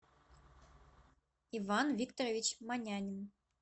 иван викторович манянин